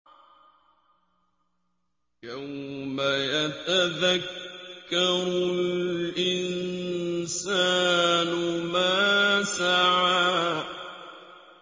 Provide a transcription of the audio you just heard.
يَوْمَ يَتَذَكَّرُ الْإِنسَانُ مَا سَعَىٰ